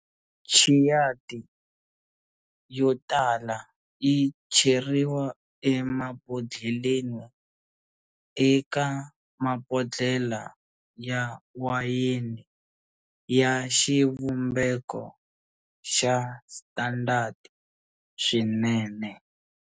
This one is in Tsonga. Chianti yotala yi cheriwa emabodlheleni eka mabodlhela ya wayeni ya xivumbeko xa standard swinene.